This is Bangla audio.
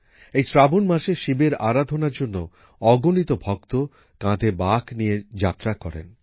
এই শ্রাবণ মাসে শিবের আরাধণার জন্য অগনিত ভক্ত কাঁধে বাঁক নিয়ে যাত্রা করেন